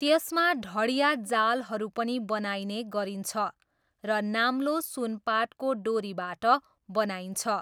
त्यसमा ढडियाँ जालहरू पनि बनाइने गरिन्छ र नाम्लो सुनपाटको डोरीबाट बनाइन्छ।